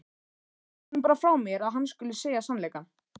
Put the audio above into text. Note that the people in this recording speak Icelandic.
Segðu honum bara frá mér að hann skuli segja sannleikann.